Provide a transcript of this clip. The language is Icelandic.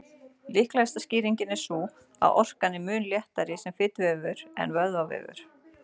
Líklegasta skýringin er sú að orkan er mun léttari sem fituvefur en vöðvavefur.